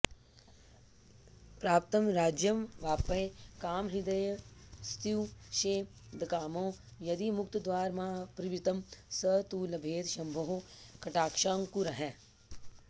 प्राप्तं राज्यमवाप्य कामहृदयस्तुष्येदकामो यदि मुक्तिद्वारमपावृतं स तु लभेत् शम्भोः कटाक्षाङ्कुरैः